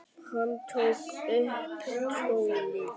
Hann tók upp tólið.